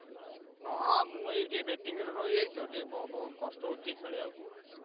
ହଁ ମୁଁ ଟିକେ batting ରେ ରହିଯାଇଛି ତଟିକେ କଷ୍ଟ ହଉଛି ଖେଳି ବାକୁ।